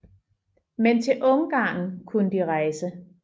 Men til Ungarn kunne de rejse